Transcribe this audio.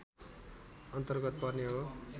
अन्तर्गत पर्ने हो